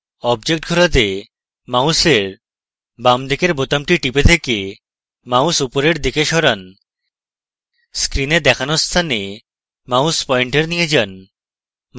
object ঘোরাতে মাউসের বামদিকের বোতামটি টিপে থেকে mouse উপরের দিকে সরান screen দেখানো স্থানে mouse পয়েন্টার নিয়ে যান